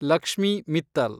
Lakshmi Mittal